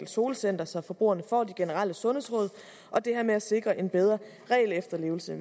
solcenter så forbrugerne får de generelle sundhedsrum og det her med at sikre en bedre regelefterlevelse